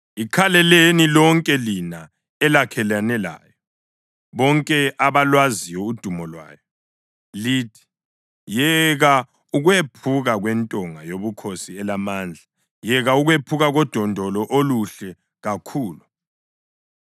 Ikhaleleni lonke lina elakhelene layo, bonke abalwaziyo udumo lwayo, lithi, ‘Yeka ukwephuka kwentonga yobukhosi elamandla, yeka ukwephuka kodondolo oluhle kakhulu!’